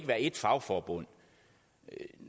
være ét fagforbund